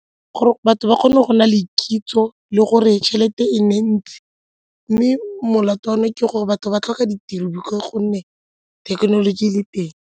Gore batho ba kgone go nna le kitso le gore tšhelete e nne e ntsi mme molato wa me ke gore batho ba tlhoka ditiro ka gonne thekenoloji e le teng.